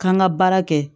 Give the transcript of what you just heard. K'an ka baara kɛ